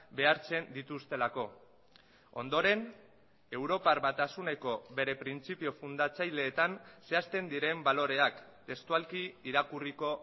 behartzen dituztelako ondoren europar batasuneko bere printzipio fundatzaileetan zehazten diren baloreak testualki irakurriko